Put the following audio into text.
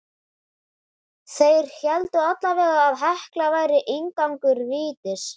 Þeir héldu allavega að Hekla væri inngangur vítis.